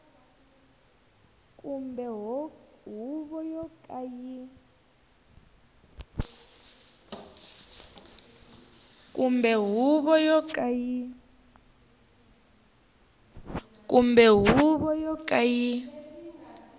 kumbe huvo yo ka yi